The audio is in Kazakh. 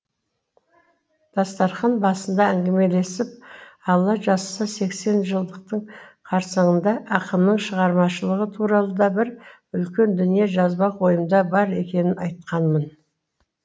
дастархан басында әңгімелесіп алла жазса сексенжылдықтың қарсаңында ақынның шығармашылығы туралы да бір үлкен дүние жазбак ойымда бар екенін айтқанмын